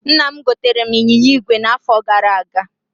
Nna m gotere m ịnyịnya ígwè na afo gara aga